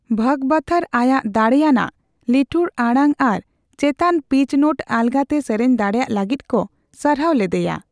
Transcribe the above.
ᱵᱷᱚᱜᱚᱵᱚᱛᱷᱚᱨ ᱟᱭᱟᱜ ᱫᱟᱲᱮᱭᱟᱱᱟᱜ, ᱞᱤᱴᱷᱩᱨ ᱟᱲᱟᱝ ᱟᱨ ᱪᱮᱛᱟᱱᱼᱯᱤᱪ ᱱᱳᱴ ᱟᱞᱜᱟᱛᱮ ᱥᱮᱨᱮᱧ ᱫᱟᱲᱮᱭᱟᱜ ᱞᱟᱹᱜᱤᱫ ᱠᱚ ᱥᱟᱨᱦᱟᱣ ᱞᱮᱫᱮᱭᱟ ᱾